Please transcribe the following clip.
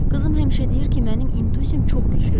Qızım həmişə deyir ki, mənim intuisiyam çox güclüdür.